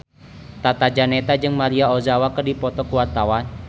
Tata Janeta jeung Maria Ozawa keur dipoto ku wartawan